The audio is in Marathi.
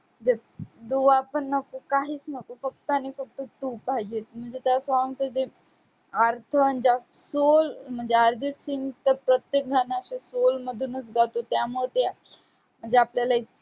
जे दुआ पण नको, काहीच नको, फक्त आणि फक्त तू पाहिजेस म्हणजे त्या song चं जे अर्थ आणि ज्यात sole म्हणजे अर्जितसिंगचं तर प्रत्येक गाणं अशे sole मधूनच गातो त्यामुळं ते म्हणजे आपल्याला